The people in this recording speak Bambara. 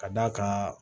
Ka d'a kan